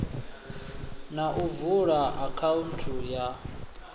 na u vula akhaunthu ya